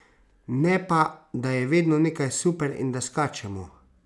Ne pa, da je vedno nekaj super in da skačemo!